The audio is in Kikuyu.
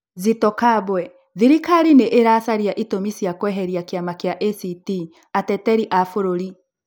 Zitto Kabwe: Thirikari nĩ ĩracaria itũmi cia kweheria kiama kia ACT Ateteri a bũrũri.